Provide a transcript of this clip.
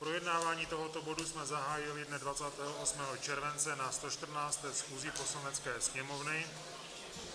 Projednávání tohoto bodu jsme zahájili dne 28. července na 114. schůzi Poslanecké sněmovny.